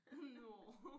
Nåh